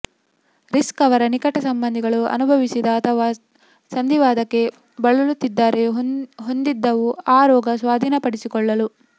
risk ಅವರ ನಿಕಟ ಸಂಬಂಧಿಗಳು ಅನುಭವಿಸಿದ ಅಥವಾ ಸಂಧಿವಾತಕ್ಕೆ ಬಳಲುತ್ತಿದ್ದಾರೆ ಹೊಂದಿದ್ದವು ಆ ರೋಗ ಸ್ವಾಧೀನಪಡಿಸಿಕೊಳ್ಳಲು